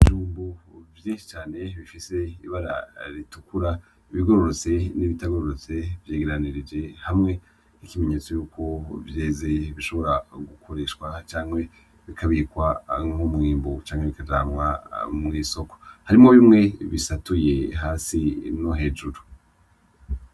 Ijumbu vyenshi cane bifise ibara ritukura ibigororotse n'ibitagororotse vyegeranirije hamwe ikimenyetso yuko vyezee bishobora gukoreshwa canke bikabirikwa nk'umwimbu canke bikajanwa mw'isoko harimo bimwe bisatuye hasi no hejuru.